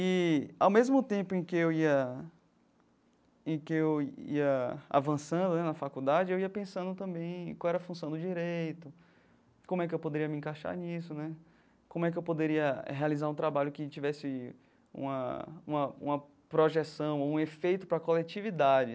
E, ao mesmo tempo em que eu ia em que eu ia avançando né na faculdade, eu ia pensando também em qual era a função do direito, como é que eu poderia me encaixar nisso né, como é que eu poderia realizar um trabalho que tivesse uma uma uma projeção, um efeito para a coletividade.